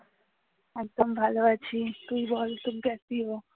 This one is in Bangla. একদম ভালো আছি তুই বল